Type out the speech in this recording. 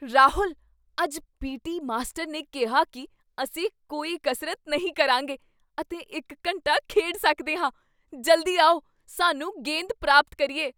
ਰਾਹੁਲ! ਅੱਜ PT. Master ਨੇ ਕਿਹਾ ਕੀ ਅਸੀਂ ਕੋਈ ਕਸਰਤ ਨਹੀਂ ਕਰਾਂਗੇ ਅਤੇ ਇੱਕ ਘੰਟਾ ਖੇਡ ਸਕਦੇ ਹਾਂ! ਜਲਦੀ ਆਓ, ਸਾਨੂੰ ਗੇਂਦ ਪ੍ਰਾਪਤ ਕਰੀਏ!